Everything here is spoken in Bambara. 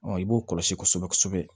i b'o kɔlɔsi kosɛbɛ kosɛbɛ